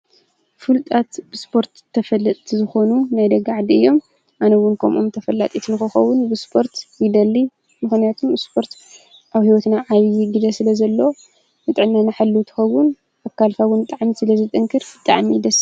ፍልጣት ብስጶርት ተፈለቲ ዝኾኑ ናይደግዕዲ እዮም ኣነውን ኮምኦም ተፈላጢ ትንኮኸውን ብስጶርት ይደሊ ምኾንያቱን ብስጶርት ኣብ ሕይወትና ዓይዪ ጊዘ ስለ ዘለ ንጠናና ሐሉ ትኸውን ኣካልፋውን ጣዕምቲ ስለ ዘጠንክር ብጠዓሚ ይደሳ